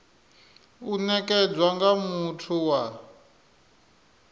u nekedzwa nga muthu wa